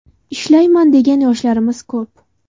Ishlayman degan yoshlarimiz ko‘p.